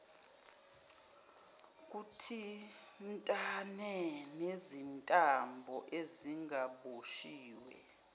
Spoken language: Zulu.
buthintane nezintambo ezingaboshiwe